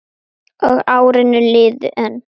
Og árin liðu enn.